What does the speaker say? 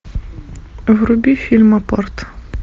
вруби фильм апорт